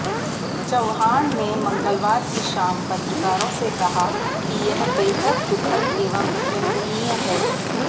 चव्हाण ने मंगलवार की शाम पत्रकारों से कहा कि यह बेहद दुखद एवं निंदनीय है